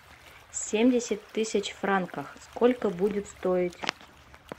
семьдесят тысяч франков сколько будет стоить